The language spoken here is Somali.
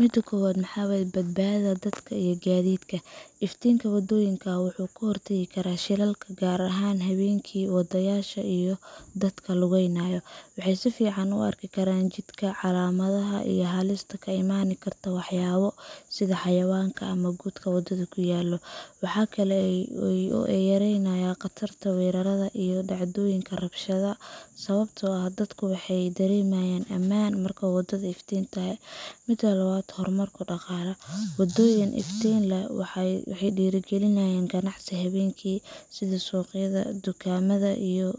Mida kobad maxa waye. Badbaadada Dadka iyo Gaadiidka Iftiinka waddooyinka wuxuu ka hortagaa shilalka, gaar ahaan habeenkii. Wadayaasha iyo dadka lugeynaya waxay si fiican u arki karaan jidka, calaamadaha, iyo halista ka iman karta waxyaabo sida xayawaanka ama godadka waddada ku yaal. Waxa kale oo uu yareeyaa khatarta weerarada iyo dhacdooyinka rabshadaha, sababtoo ah dadku waxay dareemayaan ammaan marka waddadu iftiintoo Mida labad waxawaye. Horumarka Dhaqaalaha Waddooyin iftiin leh waxay dhiirrigeliyaan ganacsiga habeenkii sida suuqyada, dukaamada, iyo